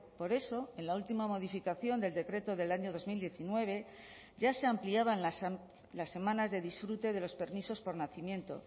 por eso en la última modificación del decreto del año dos mil diecinueve ya se ampliaban las semanas de disfrute de los permisos por nacimiento